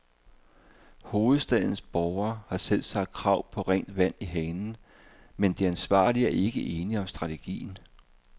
Hovedstadens borgere har selvsagt krav på rent vand i hanen, men de ansvarlige er ikke enige om strategien.